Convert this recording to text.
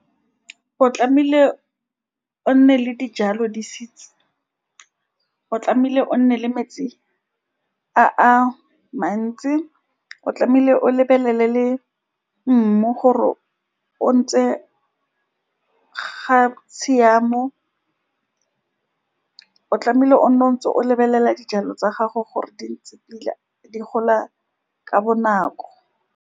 O tlamehile o nne le dijalo di-seeds, o tlamehile o nne le metsi a-a mantsi, o tlamehile o lebelele le mmu gore o ntse ga tshiamo, o tlamehile o nne o ntse o lebelela dijalo tsa gago gore di ntse pila di gola ka bonako.